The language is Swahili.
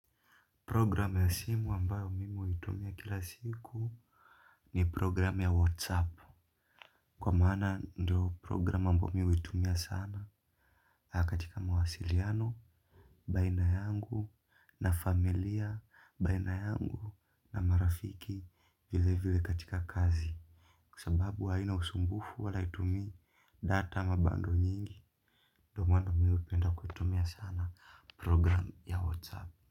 Program ya simu ambayo mimi huitumia kila siku ni program ya whatsapp. Kwa maana ndo program ambayo mimi huitumia sana. Katika mawasiliano, baina yangu, na familia, baina yangu, na marafiki vile vile katika kazi. Sababu haina usumbufu wala haitumii data ama bundle nyingi. Ndo maana mimi hupenda kuitumia sana program ya Whatsapp.